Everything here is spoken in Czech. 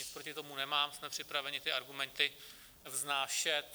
Nic proti tomu nemám, jsme připraveni ty argumenty vznášet.